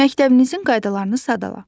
Məktəbinizin qaydalarını sadala.